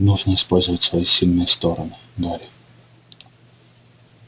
нужно использовать свои сильные стороны гарри